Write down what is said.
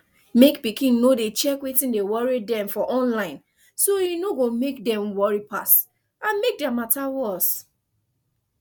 mek pikin no dey check wetin dey worry dem for online so e no go mek dem worry pass and mek their matter worse